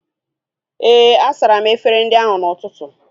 Éè, a sara m efere ndị ahu n'ụtụtụ